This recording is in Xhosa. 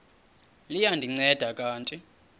liya ndinceda kanti